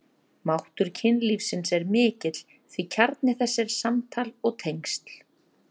Máttur kynlífsins er mikill því kjarni þess er samtal og tengsl.